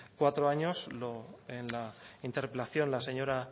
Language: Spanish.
cuatro años en la interpelación la señora